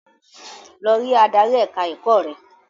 Lọ rí adarí ẹ̀ka-ẹ̀kọ́ rẹ!